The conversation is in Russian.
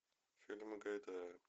фильмы гайдая